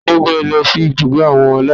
Tani ó gbé e lọ sí ibùgbé àwọn aláìníbàbá